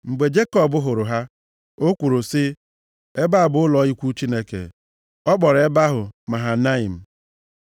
Mgbe Jekọb hụrụ ha, o kwuru sị, “Ebe a bụ ụlọ ikwu Chineke!” Ọ kpọrọ ebe ahụ, Mahanaim.